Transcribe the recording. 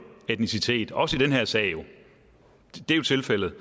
etnicitet også i den her sag det er tilfældet